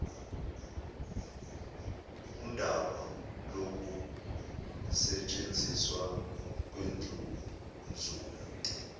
undaba lokusetshenziswa kwendlunzula